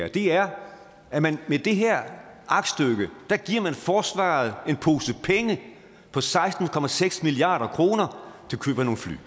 i det her er at man med det her aktstykke giver forsvaret en pose penge på seksten milliard kroner til køb af nogle fly